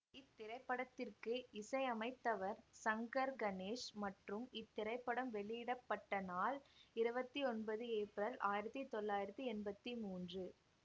இத்திரைப்படத்திற்கு இசையமைத்தவர் சங்கர் கணேஷ் மற்றும் இத்திரைப்படம் வெளியிட பட்ட நாள் இருவத்தி ஒன்பது ஏப்ரல் ஆயிரத்தி தொள்ளாயிரத்தி எம்பத்தி மூன்று